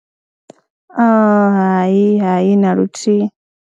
Hai, hai, na luthihi.